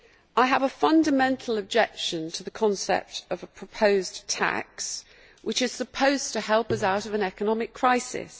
I have a fundamental objection to the concept of a proposed tax which is supposed to help us out of an economic crisis.